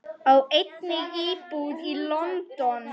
Á einnig íbúð í London.